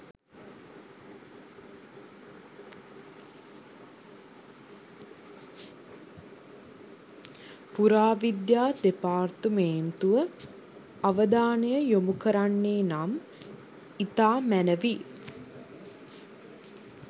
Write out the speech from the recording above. පුරාවිද්‍යා දෙපාර්තමේන්තුව අවධානය යොමු කරන්නේ නම් ඉතා මැනැවි.